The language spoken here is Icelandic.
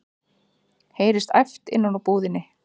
heyrist æpt innan úr búðinni.